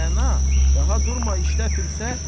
Rəna, daha durma, işdə fürsət.